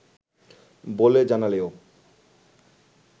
বলে জানালেও